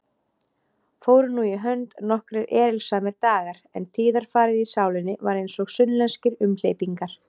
Fóru nú í hönd nokkrir erilsamir dagar, en tíðarfarið í sálinni var einsog sunnlenskir umhleypingar.